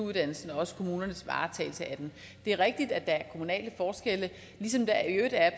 uddannelsen og også kommunernes varetagelse af den det er rigtigt at der er kommunale forskelle ligesom der i øvrigt er